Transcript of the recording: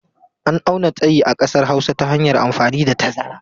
An auna tsayi a ƙasar Hausa ta hanyar amfani da tazara.